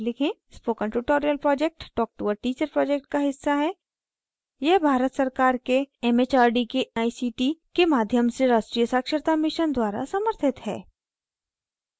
spoken tutorial project talk to a teacher project का हिस्सा है यह भारत सरकार के एम एच आर डी के a सी टी के माध्यम से राष्ट्रीय साक्षरता mission द्वारा समर्थित है